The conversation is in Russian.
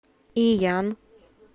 иян